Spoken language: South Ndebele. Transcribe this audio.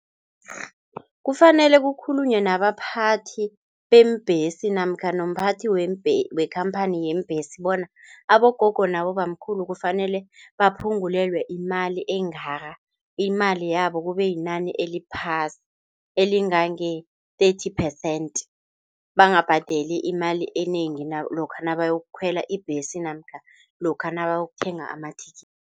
Kufanele kukhulunywe nabaphathi beembhesi namkha nomphathi weembhesi wekampani yeembhesi bona abogogo nabobamkhulu, kufanele baphungulelwe imali engaka. Imali yabo kube yinani eliphasi elingange-thirty percent. Bangabhadeli imali enengi lokha nabayokukhwela ibhesi namkha lokha nakayokuthenga amathikithi.